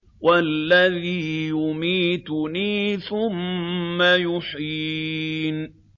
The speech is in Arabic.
وَالَّذِي يُمِيتُنِي ثُمَّ يُحْيِينِ